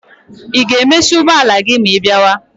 Ị ga-emesi ụgbọala gị ma ịbiawa?